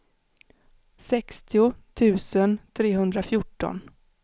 sextio tusen trehundrafjorton